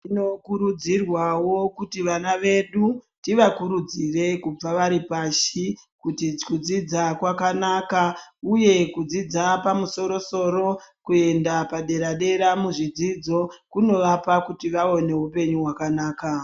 Tino kurudzirwavo kuti vana vedu tiva kurudzire kuti kubva varipashi kuti kudzidza kwakanaka, uye kudzidza pamusoro-soro, kuenda padera-dera, muzvidzidzo kunovapa kuti vave nehupenyu hwakanaka.